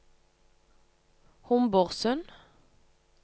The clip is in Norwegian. Homborsund